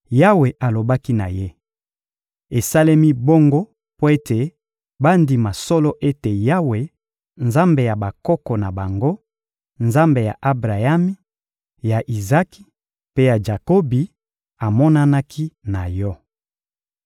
Yawe alobaki na ye: — Esalemi bongo mpo ete bandima solo ete Yawe, Nzambe ya bakoko na bango, Nzambe ya Abrayami, ya Izaki mpe ya Jakobi, amonanaki na yo.